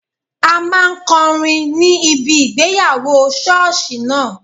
A máa kọrin ní ibi ìgbéyàwó sọ́ọ̀sì náà